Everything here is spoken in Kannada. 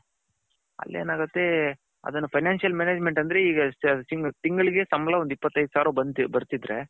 ಅಲ್ಲಿ ಎನಗುತೆ ಅದುನ್ನ financial management ಅಂದ್ರೆ ಈಗ ತಿಂಗಳಿಗೆ ಸಂಬಳ ಇಪತ್ ಏದು ಸಾವಿರ ಬರ್ತಿದ್ರೆ.